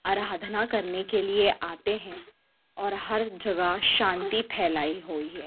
आराधना करने के लिए आते हैं और हर जगह शांति फैलाई होई है।